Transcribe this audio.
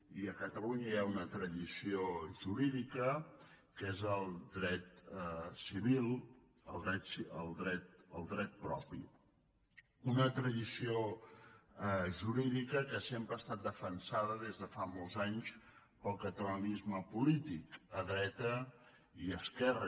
i a catalunya hi ha una tradició jurídica que és el dret civil el dret propi una tradició jurídica que sempre ha estat defensada des de fa molts anys pel catalanisme polític a dreta i a esquerra